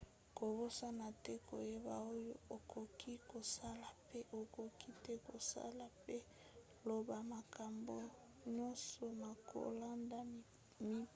kobosana te koyeba oyo okoki kosala mpe okoki te kosala mpe loba makambo nyonso na kolanda mibeko